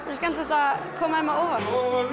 er skemmtilegt að koma þeim á óvart